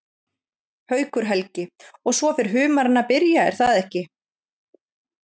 Haukur Helgi: Og svo fer humarinn að byrja er það ekki?